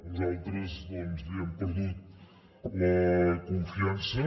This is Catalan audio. nosaltres doncs li hem perdut la confiança